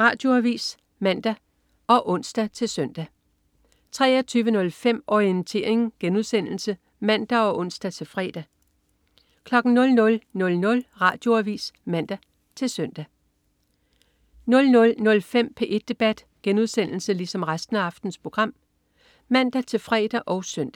Radioavis (man og ons-søn) 23.05 Orientering* (man og ons-fre) 00.00 Radioavis (man-søn) 00.05 P1 debat* (man-fre og søn)